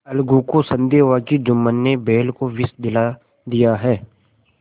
अलगू को संदेह हुआ कि जुम्मन ने बैल को विष दिला दिया है